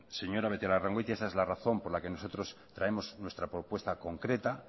señora beitialarrangoitia esa es la razón por la que nosotros traemos nuestra propuesta concreta